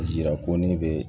A jira ko ne be